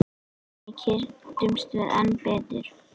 Þannig kynntumst við enn betur.